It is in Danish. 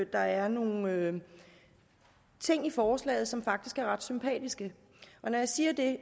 der er nogle ting i forslaget som faktisk er ret sympatiske og når jeg siger det